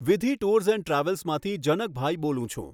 વિધિ tours and ટ્રાવેલ્સમાંથી જનકભાઈ બોલું છું.